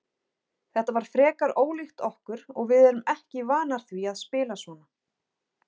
Þetta var frekar ólíkt okkur og við erum ekki vanar því að spila svona.